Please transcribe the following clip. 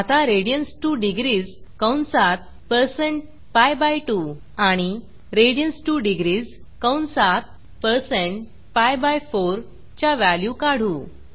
आता radians2डिग्रीस कंसात160pi2 आणि radians2डिग्रीस कंसात पीआय4 च्या व्हॅल्यू काढू